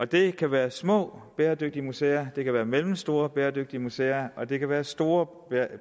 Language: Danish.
det kan være små bæredygtige museer det kan være mellemstore bæredygtige museer og det kan være store